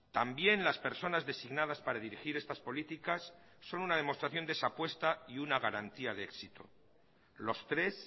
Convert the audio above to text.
también las personas designadas para dirigir estas políticas son una demostración de esa apuesta y una garantía de éxito los tres